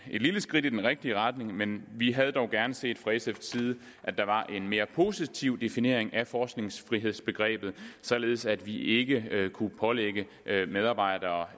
lille skridt i den rigtige retning men vi havde dog gerne set at der var en mere positiv definition af forskningsfrihedsbegrebet således at vi ikke kunne pålægge medarbejdere